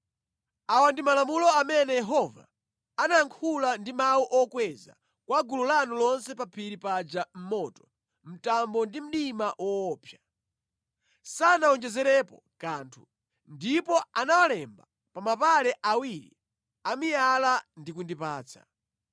Awa ndi malamulo amene Yehova anayankhula ndi mawu okweza kwa gulu lanu lonse pa phiri paja mʼmoto, mtambo ndi mdima woopsa, sanawonjezerepo kanthu. Ndipo anawalemba pa mapale awiri amiyala ndi kundipatsa.